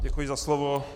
Děkuji za slovo.